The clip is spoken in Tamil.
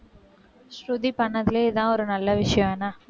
ஸ்ருதி பண்ணதிலே இதான் ஒரு நல்ல விஷயம் என்ன